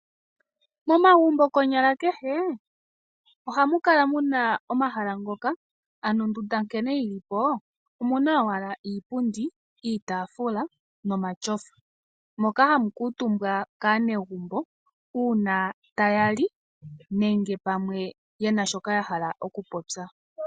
Momagumbo konyala kehe ohamu kala mu na omahala ngoka ano ondunda nkene yi li po omu na owala iipundi, iitaafula nomatyofa. Moka hamu kuutumbwa kaanegumbo uuna taya li nenge pamwe ye na shoka ya hala okupopya.